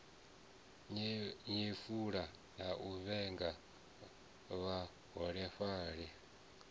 nyefula na u vhenga vhaholefhali